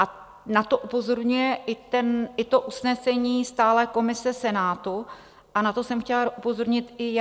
A na to upozorňuje i to usnesení stálé komise Senátu a na to jsem chtěla upozornit i já.